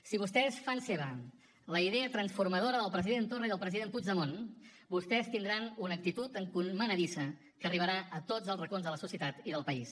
si vostès fan seva la idea transformadora del president torra i del president puigdemont vostès tindran una actitud encomanadissa que arribarà a tots els racons de la societat i del país